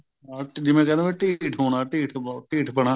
ਹਾਂ ਜਿਵੇਂ ਕਹਿਣਾ ਵੀ ਢੀਠ ਹੋਣਾ ਢੀਠ ਢੀਠ ਪਣਾ